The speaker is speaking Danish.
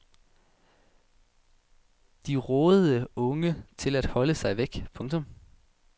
De rådede unge til at holde sig væk. punktum